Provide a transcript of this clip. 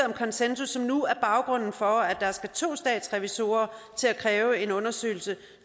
konsensus som nu er baggrunden for at der skal to statsrevisorer til at kræve en undersøgelse